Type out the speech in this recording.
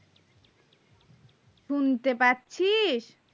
শুনতে পাচ্ছিস